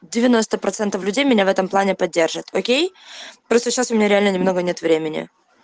девяносто процентов людей меня в этом плане поддержат окей просто сейчас у меня реально немного нет времени